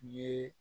Ye